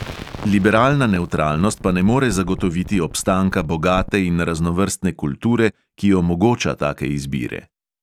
Liberalna nevtralnost pa ne more zagotoviti obstanka bogate in raznovrstne kulture, ki omogoča take izbire.